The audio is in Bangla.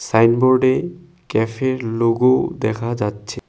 সাইনবোর্ডে ক্যাফের লোগোও দেখা যাচ্ছে।